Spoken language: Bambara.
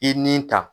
I ni ta